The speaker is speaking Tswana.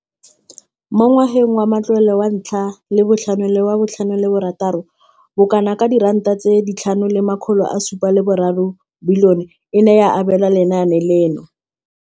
Mo ngwageng wa matlole wa 2015,16, bokanaka R5 703 bilione e ne ya abelwa lenaane leno.